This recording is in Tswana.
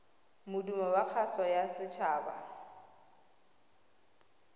modumo wa kgaso ya setshaba